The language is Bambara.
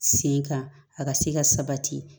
Sen kan a ka se ka sabati